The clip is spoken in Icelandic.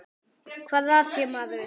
Hvað er að þér maður?